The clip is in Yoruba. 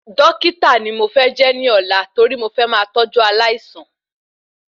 Dọ́kítà ni mo fẹ́ jẹ́ ní òla torí mo fẹ máa tọjú aláìsàn